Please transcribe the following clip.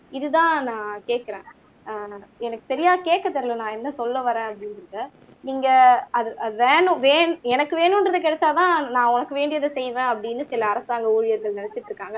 இதுதான் நான் கேக்குறன் ஆஹ் எனக்கு சரியா கேக்க தெரியல்ல நான் என்ன சொல்ல வாறேன் அப்படிங்குறத்த நீங்க அது அது வேணும் எனக்கு வேணும் என்றது கிடைச்சாதான் நான் உனக்கு வேண்டியத செய்வன் அப்படின்னு சில அரசாங்க ஊழியர்கள் நினைச்சிட்டு இருக்காங்க